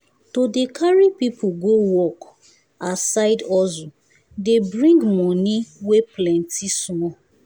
to dey carry people go work as side hustle dey bring money wey plenty small